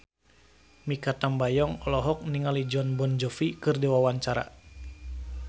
Mikha Tambayong olohok ningali Jon Bon Jovi keur diwawancara